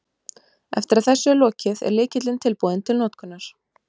Eftir að þessu er lokið, er lykillinn tilbúinn til notkunar.